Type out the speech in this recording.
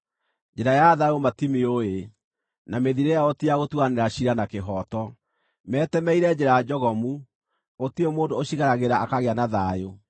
Njĩra ya thayũ matimĩũĩ; na mĩthiĩre yao ti ya gũtuanĩra ciira na kĩhooto. Metemeire njĩra njogomu; gũtirĩ mũndũ ũcigeragĩra akagĩa na thayũ.